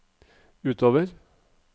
utover